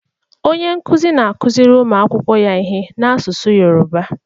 Onye nkuzi na-akụziri ụmụ akwụkwọ ya ihe n'asụsụ Yoruba.